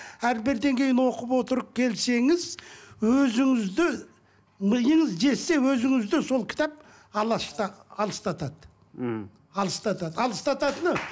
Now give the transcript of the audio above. әрбір деңгейін оқып отырып келсеңіз өзіңізді миыңыз жетсе өзіңізді сол кітап алыстатады мхм алыстатады алыстататыны